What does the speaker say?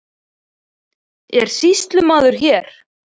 Er sýslumaður hér?